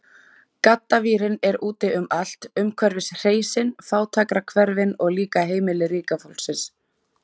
Gaddavírinn er úti um allt, umhverfis hreysin, fátækrahverfin, og líka heimili ríka fólksins.